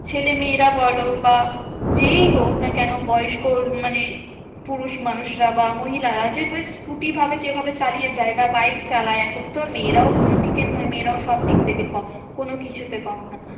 ছেলেমেয়েরা বলো বা যেই হোকনা কেন বয়স্ক মানে পুরুষ মানুষরা বা মহিলারা যে ওই scooter ভাবে যেভাবে চালিয়ে যায় বা বাইক চালায় এখন তো আর মেয়েরাও কোনোদিকে নয় মেয়েরাও সবদিক থেকে কম কোনকিছুতে কম না।